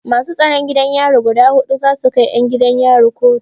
Masu tsaron gidan yari guda huɗu za su kai 'yan gidan yari kotu.